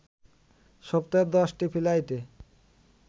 সপ্তাহে ১০টি ফ্লাইটে